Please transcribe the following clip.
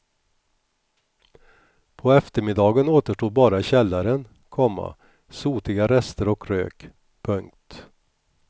På eftermiddagen återstod bara källaren, komma sotiga rester och rök. punkt